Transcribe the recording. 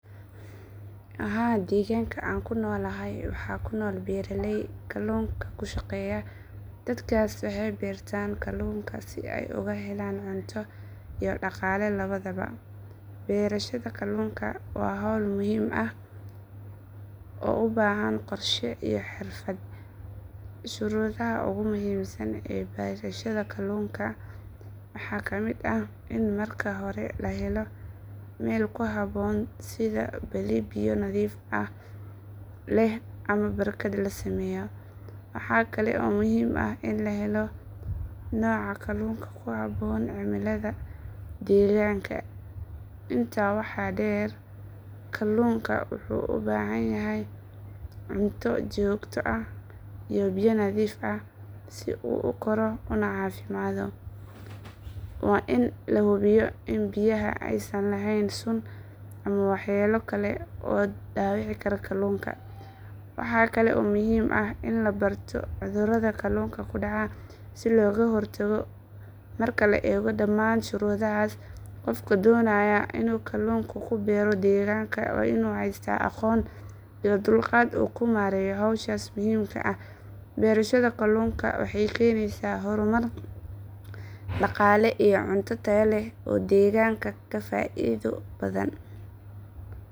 Haa deegaanka aan ku noolahay waxaa ku nool beeraley kalluunka ku shaqeeya. Dadkaas waxay beertaan kalluunka si ay uga helaan cunto iyo dhaqaale labadaba. Beerashada kalluunka waa hawl muhiim ah oo u baahan qorshe iyo xirfad. Shuruudaha ugu muhiimsan ee beerashada kalluunka waxaa ka mid ah in marka hore la helo meel ku habboon sida balli biyo nadiif ah leh ama barkad la sameeyo. Waxa kale oo muhiim ah in la helo nooca kalluunka ku habboon cimilada deegaanka. Intaa waxaa dheer, kalluunka wuxuu u baahan yahay cunto joogto ah iyo biyo nadiif ah si uu u koro una caafimaado. Waa in la hubiyaa in biyaha aysan lahayn sun ama waxyeelo kale oo dhaawici kara kalluunka. Waxa kale oo muhiim ah in la barto cudurada kalluunka ku dhaca si looga hortago. Marka la eego dhammaan shuruudahaas, qofka doonaya inuu kalluunku ku beero deegaanka waa inuu haystaa aqoon iyo dulqaad uu ku maareeyo hawshaas muhiimka ah. Beerashada kalluunka waxay keenaysaa horumar dhaqaale iyo cunto tayo leh oo deegaanka ka faa’iido badan.